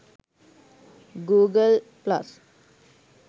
google+